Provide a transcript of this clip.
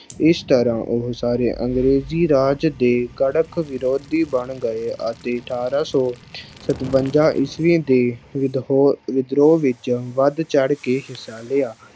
ਇਸ ਤਰ੍ਹਾਂ ਉਹ ਸਾਰੇ ਅੰਗਰੇਜ਼ੀ ਰਾਜ ਦੇ ਕੱਟੜ ਵਿਰੋਧੀ ਬਣ ਗਏ ਅਤੇ ਅਠਾਰਾਂ ਸੌ ਸਤਵੰਜਾ ਈਸਵੀ ਦੀ ਵਿਧਹੋ, ਵਿਧਰੋਹ ਵਿੱਚ ਵੱਧ ਚੜ੍ਹ ਕੇ ਹਿੱਸਾ ਲਿਆ।